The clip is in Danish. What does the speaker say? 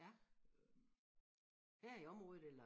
Ja her i området eller?